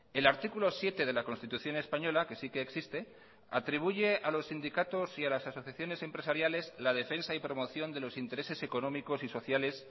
el artículo siete de la constitución española que sí que existe atribuye a los sindicatos y a las asociaciones empresariales la defensa y promoción de los intereses económicos y sociales